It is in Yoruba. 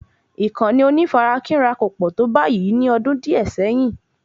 Ìkànnì onífarakínra kò pọ̀ tó báyìí ní ọdún díẹ̀ sẹ́yìn